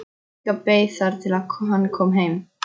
Inga beið þar til hann kom heim.